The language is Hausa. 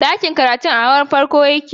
Ɗakin karatun a hawan farko yake